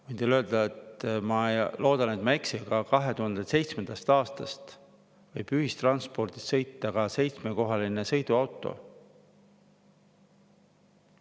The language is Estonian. Võin teile öelda – ma loodan, et ma ei eksi –, et 2007. aastast võib ühis ka seitsmekohaline sõiduauto.